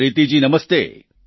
પ્રીતિ જી નમસ્તે